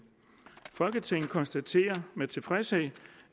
folketinget konstaterer med tilfredshed